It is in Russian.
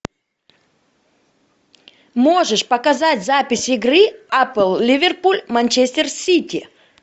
можешь показать запись игры апл ливерпуль манчестер сити